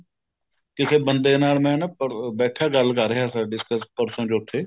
ਕਿਉਂਕਿ ਬੰਦੇ ਨਾਲ ਮੈਂ ਨਾ ਬੈਠਾ ਗੱਲ ਕਰ ਰਿਹਾ ਸੀ discuss ਪਰਸੋ ਚੋਥੇ